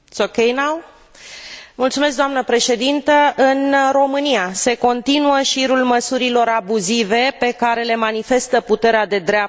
În România se continuă șirul măsurilor abuzive pe care le manifestă puterea de dreapta cu atacarea dreptului la liberă exprimare.